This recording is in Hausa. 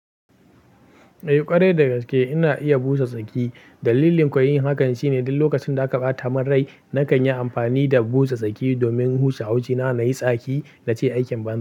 Eh ƙwarai dagaske ina iya busa tsaki. Dalilin ko yin hakan shine duk lokacin da aka bata min rai nakan yi amfani da busa saki domin huce haushi na na yi tsaki nace aikin ban.